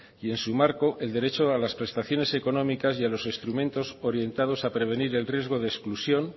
y en su marco el derecho a las prestaciones económicos y a los instrumentos orientados a prevenir el riesgo de exclusión